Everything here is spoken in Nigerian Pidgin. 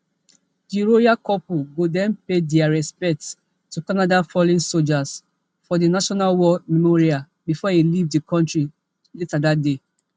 di royal couple go den pay dia respects to canada fallen soldiers for di national war memorial bifor e leave di kontri later dat day